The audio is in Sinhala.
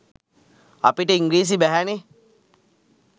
අපිට ඉංග්‍රීසි බැහැනෙ